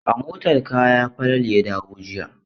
A motar kaya Falalu ya dawo jiya.